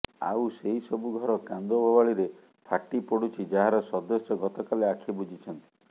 ଆଉ ସେହିସବୁ ଘର କାନ୍ଦବୋବାଳିରେ ଫାଟି ପଡ଼ୁଛି ଯାହାର ସଦସ୍ୟ ଗତକାଲି ଆଖି ବୁଜିଛନ୍ତି